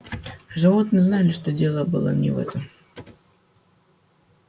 животные знали что дело было не в этом